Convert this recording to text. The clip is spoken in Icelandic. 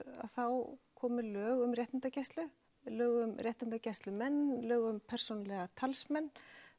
þá komu lög um réttindagæslu lög um réttindagæslumenn lög um persónulega talsmenn